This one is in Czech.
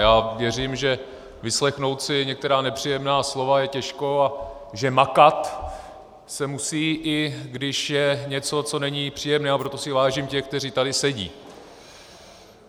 Já věřím, že vyslechnout si některá nepříjemná slova je těžké a že makat se musí, i když je něco, co není příjemné, a proto si vážím těch, kteří tady sedí.